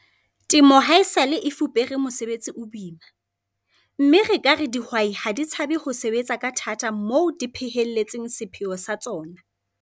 Temo haesale e fupere mosebetsi o boima, mme re ka re dihwai ha di tshabe ho sebetsa ka thata moo di phehelletseng sepheo sa tsona.